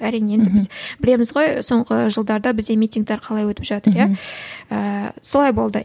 әрине енді біз білеміз ғой соңғы жылдарда бізде митингтер қалай өтіп жатыр иә ііі солай болды